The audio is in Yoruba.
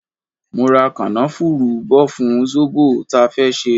Mo ra kanafuru bò fún zobo ta fẹ́ ṣe.